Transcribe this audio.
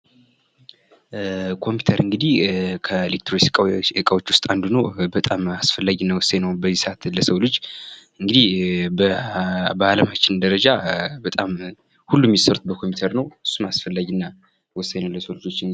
ኮምፒውተር እንግዲህ ከኤሌክትሮኒክስ እቃዎች ውስጥ አንዱ ነው። በጣም አስፈላጊና ወሳኝ ነው። በዚህ ሰአት ለሰው ልጅ እንግዲህ በዓለምን ደረጃ በጣም ሁሉ እሚሰሩት በምፒውተር ነው። አስፈላጊና ወሳኝ ነው ለሰው ልጆች።